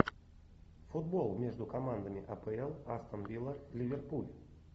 футбол между командами апл астон вилла ливерпуль